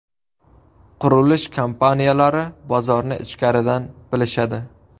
Qurilish kompaniyalari bozorni ichkaridan bilishadi.